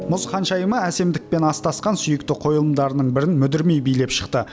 мұз ханшайымы әсемдікпен астасқан сүйікті қойылымдарының бірін мүдірмей билеп шықты